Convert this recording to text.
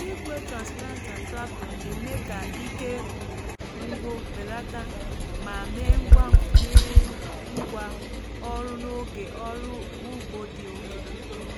igwe transplanter tractor na-eme ka ike ngwu belata ma mee ngwa mee ngwa ọrụ n’oge ọrụ ugbo dị oke.